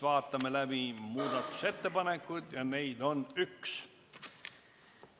Vaatame läbi muudatusettepanekud, neid on üks.